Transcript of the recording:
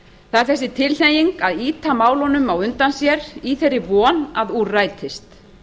það er þessi tilhneiging að ýta málunum á undan sér í þeirri von að úr rætist